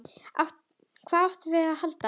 Hvað áttum við að halda?